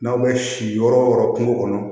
N'aw bɛ si yɔrɔ o yɔrɔ kungo kɔnɔ